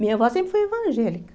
Minha avó sempre foi evangélica.